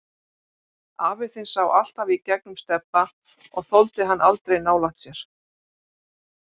Afi þinn sá alltaf í gegnum Stebba og þoldi hann aldrei nálægt sér.